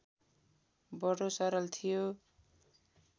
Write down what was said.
बडो सरल थियो